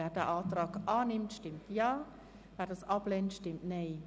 Wer den Antrag annimmt, stimmt Ja, wer diesen ablehnt, stimmt Nein.